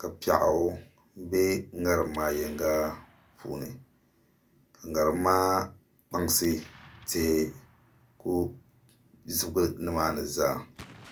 ka piɛɣu bɛ ŋarim maa yinga puuni ka ŋarim maa kpaŋsi tihi ku zibigi nimaani zaa